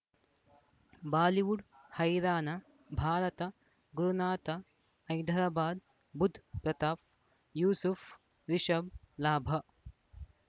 Bollywood ಹೈರಾಣ ಭಾರತ ಗುರುನಾಥ ಹೈದರಾಬಾದ್ ಬುಧ್ ಪ್ರತಾಪ್ ಯೂಸುಫ್ ರಿಷಬ್ ಲಾಭ